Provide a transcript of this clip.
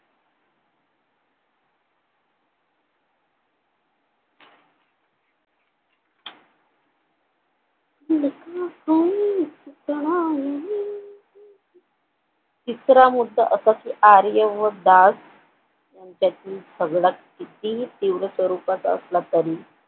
चित्रामुळं आर्य व दास त्याची सगळं कितीही तीव्र स्वरूपाचा असला तरी